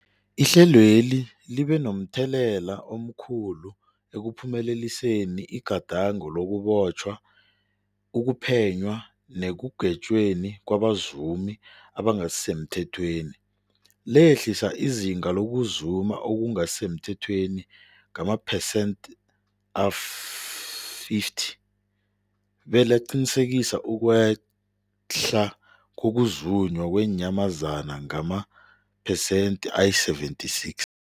Ihlelweli libe momthelela omkhulu ekuphumeleliseni igadango lokubotjhwa, ukuphenywa nekugwetjweni kwabazumi abangasisemthethweni, lehlisa izinga lokuzuma okungasi semthethweni ngamaphesenthe-50, belaqinisekisa ukwehla kokuzunywa kweenyamazana ngamaphesenthe-76.